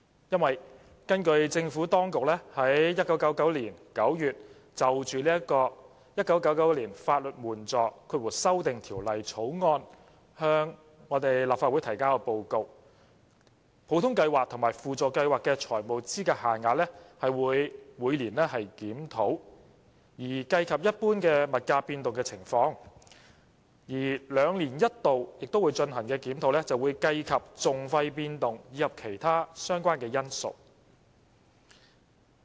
因為根據政府當局在1999年9月就《1999年法律援助條例草案》向立法會提交的報告，普通計劃和輔助計劃的財務資格限額會每年檢討，以計及一般物價變動的情況；兩年一度進行的檢討，則會計及訟費變動及其他相關因素。